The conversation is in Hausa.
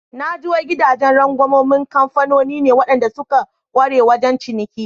Naji wai gidajen rangwaman kamfanoni ne waɗanda suka ƙware wajen ciniki.